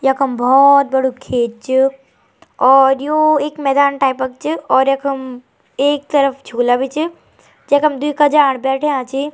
यखम भोत बडू खेत च और यु एक मैदान टाइप क च और यखम एक तरफ झूला भी च जखम द्वि कज्याण बैठ्या छी।